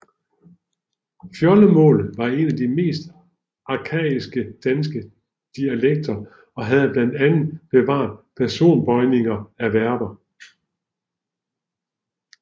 Fjoldemålet var en af de mest arkaiske danske dialekter og havde blandt andet bevaret personbøjning af verber